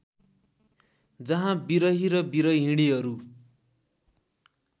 जहाँ विरही र विरहिणीहरू